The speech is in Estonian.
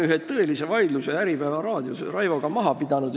Tähendab, me oleme Raivoga Äripäeva raadios ühe tõelise vaidluse maha pidanud.